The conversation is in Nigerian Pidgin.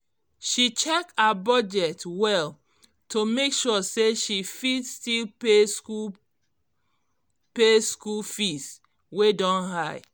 she check her budget well to make sure say she fit still pay school pay school fees wey don high